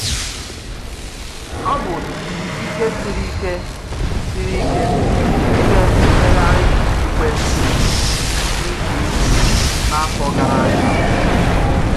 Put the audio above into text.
Ọ bụ ike siri ike siri ike n’ime mmegharị okpukpe dị iche iche n’afọ gara aga.